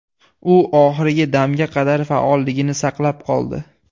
U oxirgi damga qadar faolligini saqlab qoldi.